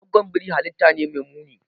Goggon biri halitta ne mai muni.